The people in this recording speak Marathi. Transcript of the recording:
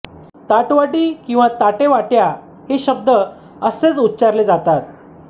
ताटवाटी किंवा ताटेवाट्या हे शब्द असेच उच्चारले जातात